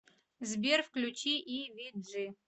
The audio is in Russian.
сбер включи и ви джи